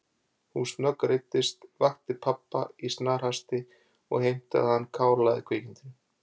Hún snöggreiddist, vakti pabba í snarhasti og heimtaði að hann kálaði kvikindinu.